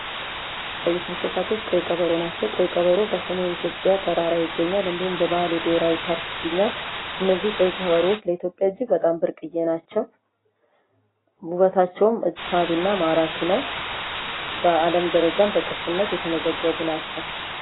የሚታዩት እንሰሳቶች ቀይ ቀበሮ ናቸው። ቀይ ቀበር በሰሜን ኢትዮጵያ ተራራ ይገኛል። እንዲሁም እንዲሁም በባሌ ብሄራዊ ፓርክ ይገኛል። እነዚህ ቀይ ቀበሮዎች ለኢትዮጵያ እጅግ በጣም ብርቅዬ ናቸው። ውበታቸውም ሳቢና ማራኪ ነው። በአለም ደረጃም በቅርስነት የተመዘገቡ ናቸው።